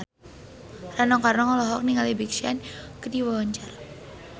Rano Karno olohok ningali Big Sean keur diwawancara